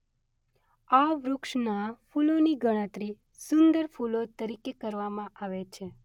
આ વૃક્ષનાં ફૂલોની ગણતરી સુંદર ફૂલો તરીકે કરવામાં આવે છે.